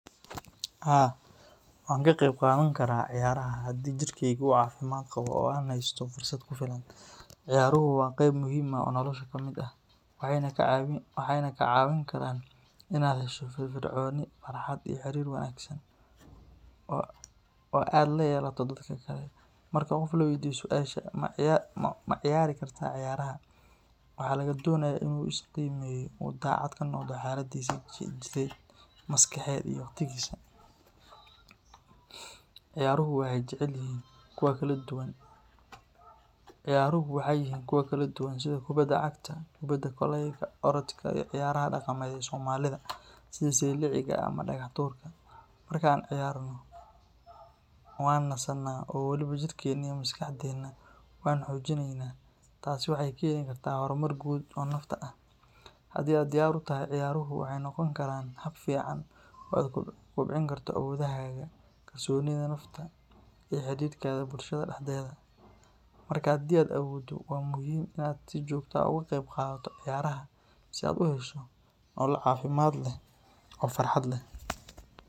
Haa, waan ka qayb qaadan karaa ciyaaraha haddii jirkeyga uu caafimaad qabo oo aan heysto fursad ku filan. Ciyaaruhu waa qayb muhiim ah oo nolosha ka mid ah, waxayna kaa caawin karaan in aad hesho firfircooni, farxad, iyo xiriir wanaagsan oo aad la yeelato dadka kale. Marka qof la weydiiyo su’aasha ah “ma ciyaari kartaa ciyaaraha?” waxa laga doonayaa in uu is qiimeeyo oo uu daacad ka noqdo xaaladdiisa jidheed, maskaxeed, iyo waqtigiisa. Ciyaaruhu waxay yihiin kuwo kala duwan sida kubadda cagta, kubadda kolayga, orodka, iyo ciyaaraha dhaqameed ee Soomaalida sida sayliciga ama dhagax tuurka. Marka aan ciyaarno, waan nasanaa oo weliba jirkeenna iyo maskaxdeenna waan xoojinaynaa. Taasina waxay keeni kartaa horumar guud oo nafta ah. Haddii aad diyaar u tahay, ciyaaruhu waxay noqon karaan hab fiican oo aad ku kobcin karto awoodahaaga, kalsoonida nafta, iyo xidhiidhkaaga bulshada dhexdeeda. Marka, haddii aad awooddo, waa muhiim in aad si joogto ah uga qayb qaadato ciyaaraha si aad u hesho nolol caafimaad leh oo farxad leh.